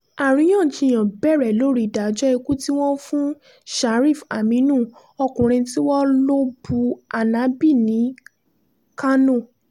àríyànjiyàn bẹ̀rẹ̀ lórí ìdájọ́ ikú tí wọ́n fún sharif-aminu ọkùnrin tí wọ́n lọ bú anabi ní kánò